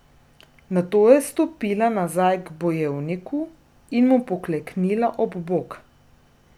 Nato je stopila nazaj k bojevniku in mu pokleknila ob bok.